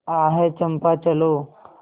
आह चंपा चलो